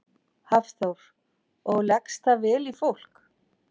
Hafþór: Og leggst það vel í fólk?